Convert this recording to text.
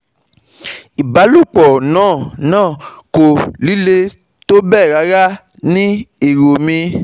Ìbálòpọ̀ náà náà kò líle tó bẹ́ẹ̀ rárá ní èrò mi